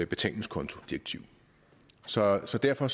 betalingskontodirektiv så så derfor